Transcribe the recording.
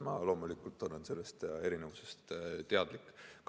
Ma loomulikult olen sellest erinevusest teadlik.